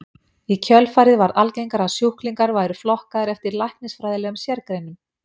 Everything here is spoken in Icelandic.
Í kjölfarið varð algengara að sjúklingar væru flokkaðir eftir læknisfræðilegum sérgreinum.